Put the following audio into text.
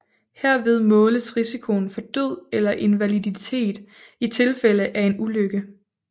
Herved måles risikoen for død eller invaliditet i tilfælde af en ulykke